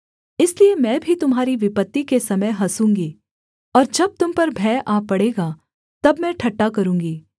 इसलिए मैं भी तुम्हारी विपत्ति के समय हँसूँगी और जब तुम पर भय आ पड़ेगा तब मैं ठट्ठा करूँगी